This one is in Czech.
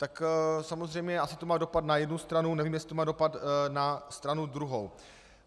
Tak samozřejmě asi to má dopad na jednu stranu, nevím, jestli to má dopad na stranu druhou.